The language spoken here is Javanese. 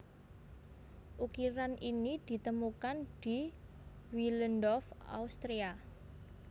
Ukiran ini ditemukan di Willendorf Austria